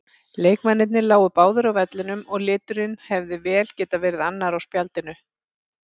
Leikmennirnir lágu báðir á vellinum og liturinn hefði vel getað verið annar á spjaldinu.